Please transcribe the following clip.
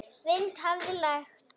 Vind hafði lægt.